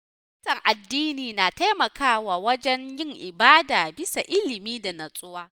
Fahimtar addini na taimakawa wajen yin ibada bisa ilimi da nutsuwa.